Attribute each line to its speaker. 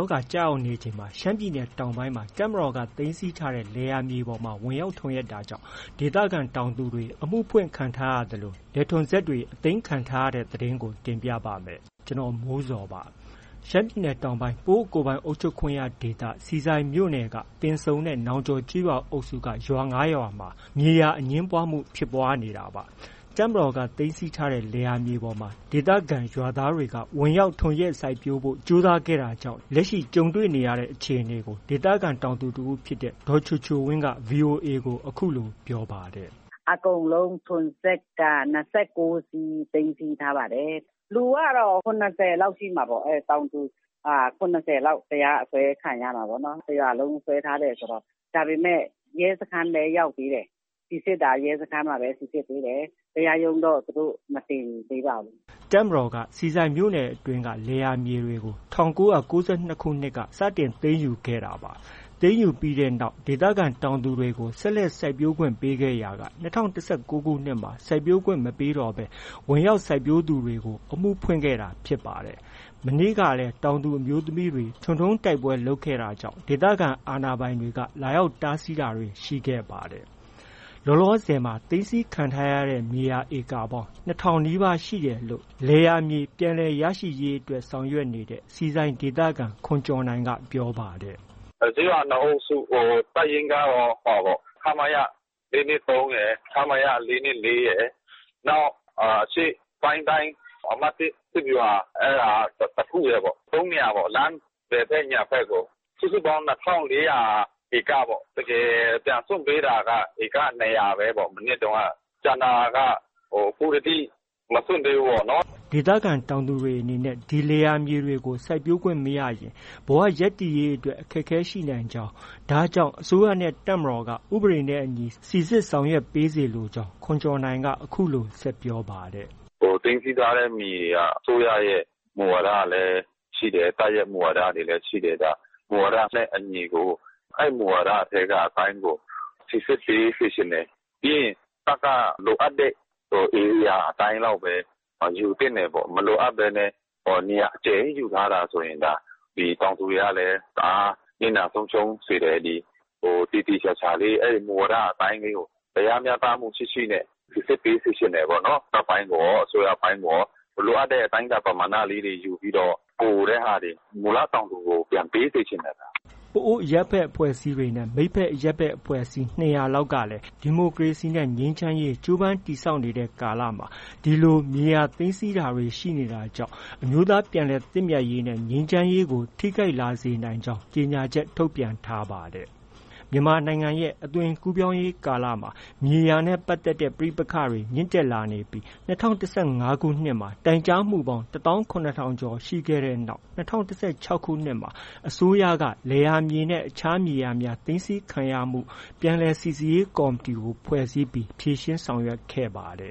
Speaker 1: ောဂါ ကျရောက်နေချိန် ရှမ်းပြည်နယ်တောင်ပိုင်းမှာ တပ်မတော်က သိမ်းဆည်းထားတဲ့ လယ်ယာမြေပေါ်မှာ ဝင်ရောက်ထွန်ယက်တာကြောင့် ဒေသခံတွေ အမှုဖွင့်ခံထားရသလို လယ်ထွန်စက်တွေ အသိမ်းခံထားရတဲ့ သတင်းကို ကိုမိုးဇော် တင်ပြပါတယ်။ ရှမ်းပြည်နယ်တောင်ပိုင်း ပအိုဝ်းကိုယ်ပိုင်အုပ်ချုပ်ခွင့်ရဒေသ ဆီဆိုင်မြို့နယ် ပင်စုံနဲ့ နောင်ကျော်ကျေးရွာအုပ်စု က ရွာ ၅ရွာက မြေယာအငြင်းပွားမှု ဖြစ်ပွားနေတာပါ။ တပ်မတော်က သိမ်းဆည်းထားတဲ့ လယ်ယာမြေပေါ်မှာ ဒေသခံရွာသားတွေက ဝင်ရောက်ထွန်ယက်စိုက်ပျိုးဖို့ ကြိုးစားတာကြောင့် လက်ရှိ တွေ့ကြုံနေရတဲ့အခြေအနေကို ဒေသခံတောင်သူ တစ်ဦးဖြစ်တဲ့ ဒေါ်ချိုချိုဝင်းက ဗွီအိုအေကို အခုလို ပြောပါတယ်
Speaker 2: ။ “ အကုန်လုံး ထွန်စက်က ၂၉စီး သိမ်းဆည်းထားပါတယ်။ လူကတော့ ၇၀ လောက်ရှိမှာပေါ့။ တောင်သူ ၇၀လောက် တရားအစွဲခံရမှာပေါ့နော်။ တစ်ရွာလုံးစွဲထားတယ်ဆိုတော့။ ဒါပေမယ့် ရဲစခန်းပဲ ရောက်သေးတယ်။ စိစစ်တာရဲစခန်းမှာပဲ စိစစ်တယ်။ တရားရုံးတော့ မတင်သေး
Speaker 1: ပါဘူး။ ” တပ်မတော်က ဆီဆိုင်မြို့နယ်အတွင်းက လယ်ယာမြေတွေကို ၁၉၉၂ ခုနှစ်က စတင်သိမ်းယူခဲ့တာပါ။ သိမ်း ယူပြီးတဲ့နောက်မှာ ဒေသခံတောင်သူတွေကို ဆက်လက် စိုက်ပျိုးခွင့်ပေးခဲ့ရာက ၂၀၁၉ခုနှစ်မှာ စိုက်ပျိုးခွင့် မပေးတော့ဘဲ ဝင်ရောက်စိုက်ပျိုးသူတွေကို အမှုဖွင့်ခဲ့တာဖြစ်ပါတယ်။ မနေ့ကလည်း တောင်သူအမျိုးသမီးတွေက ထွန်တုံးတိုက်ပွဲလုပ်ခဲ့တာကြောင့် ဒေသခံအာဏာပိုင်တွေက လာရောက် တားဆီးတာတွေ ရှိခဲ့ပါတယ်။ လောလော သိမ်းဆည်းခံထားရတဲ့ မြေယာဧကပေါင်း ၂၀၀၀ နီးပါးခန့်ရှိတယ်လို့ လယ်ယာမြေ ပြန်လည်ရရှိ ရေးအတွက် ဆောင်ရွက်နေတဲ့ ဆီဆိုင်ဒေသခံ ခွန်ကျော်နိုင်က ပြောပါတယ်
Speaker 2: ။ “ ကျေးရွာ ၂အုပ်စု တပ်ရင်းကတော့ ခမရ ၄၂၃ရယ်၊ ခမရ ၄၂၄ရယ်၊ နောက် အရှေ့ပိုင်းတိုင်း အမှတ် ၁ စစ်ဗျူဟာ တစ်ခုရယ်။ ၃နေရာပေါ့။ လမ်း ဘယ်ဖက်၊ ညာဖက်ကို စုစုပေါင်း ၂၄၀၀ ဧကပေါ့။ တကယ်ပြန်စွန့်ပေးတာက ဧက ၂၀၀ပဲပေါ့။ မနှစ်တုံးက ကျန်တာက အခုထက်ထိ မစွန့်ပေး
Speaker 1: ဘူးပေါ့နော်။” ဒေသခံတောင်သူတွေအနေနဲ့ ဒီလယ်ယာတွေကို စိုက်ပျိုးခွင့်မရရင် ဘဝရပ်တည်ရေးအတွက် အခက်အခဲရှိနိုင်ကြောင်း၊ ဒါကြောင့် အစိုးရနဲ့ တပ်မတော်က ဥပဒေနဲ့အညီ စိစစ်ဆောင်ရွက် ပေးစေလိုကြောင်း ခွန်ကျော်နိုင်က အခုလို ဆက်ပြောပါတယ်။
Speaker 2: “ သိမ်းဆည်းထားတဲ့မြေတွေက အစိုးရရဲ့ မူဝါဒလည်းရှိတယ်။ တပ်ရဲ့ မူဝါဒလည်းရှိတယ်။ အဲဒီမူဝါဒထဲက အတိုင်းကို စိစစ်ပေးစေချင်တယ်။ ပြီးရင် တပ်က လိုအပ်တဲ့ ဧရိယာအတိုင်းလောက်ပဲ ယူသင့်တယ်ပေါ့။ မလိုအပ်ဘဲနဲ့ နေရာအကျယ်ကြီးယူထားတာဆိုရင် ဒါ တောင်သူတွေကလည်း တအား နစ်နာဆုံးရှုံးစေတယ်။ ဒီ သေသေချာချာလေး အဲဒီမူဝါဒအတိုင်းလေးကို တရားမျှတမှုရှိရှိနဲ့ စိစစ်ပေးစေချင်တယ်ပေါ့နော်။ တပ်ပိုင်း ကိုရော၊ အစိုးရပိုင်းကိုရော။ လိုအပ်တဲ့ အတိုင်းအတာ ပမာဏလေးတွေ ယူပြီးတော့ ပိုတဲ့ဟာတွေ မူလ တောင်သူကို ပြန်ပေးစေချင်တယ်။ ”
Speaker 1: ပအိုဝ်းအရပ်ဘက်အဖွဲ့အစည်းနဲ့ မိတ်ဖက် အရပ်ဘက် အဖွဲ့အစည်း ၂၀၀လောက်ကလည်း ဒီမိုကရေစီနဲ့ ငြိမ်းချမ်းရေး ကြိုးပမ်း တည်ဆောက်စဉ်ကာလမှာ ဒီလို မြေယာသိမ်းဆည်းတာတွေ ရှိနေတာကြောင့် အမျိုးသားပြန်လည်သင့်မြတ်ရေးနဲ့ ငြိမ်းချမ်းရေးကို ထိခိုက်လာစေနိုင်ကြောင်း ကြေညာချက် ထုတ်ပြန်ထားပါတယ်။ မြန်မာနိုင်ငံ အသွင်ကူးပြောင်းရေးကာလမှာ မြေယာနဲ့ ပတ်သက်တဲ့ ပဋိပက္ခတွေဟာ မြင့်တက်လာနေပြီး ၂၀၁၅ ခုနှစ်မှာ တိုင်ကြားမှုပေါင်း ၁၇၀၀၀ကျော်ရှိခဲ့တဲ့နောက် ၂၀၁၆ခုနှစ်မှာ အစိုးရက လယ်ယာမြေနဲ့ အခြား မြေယာများ သိမ်းဆည်းခံရမှု ပြန်လည် စိစစ်ရေးကော်မတီ ဖွဲ့စည်းပြီး ဖြေရှင်းဆောင်ရွက်ခဲ့ပါတ